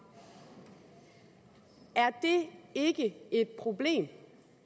er det ikke et problem